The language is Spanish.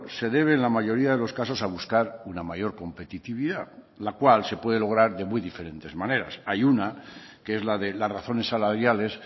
se debe en la mayoría de los casos a buscar una mayor competitividad la cual se puede lograr de muy diferentes maneras hay una que es la de las razones salariales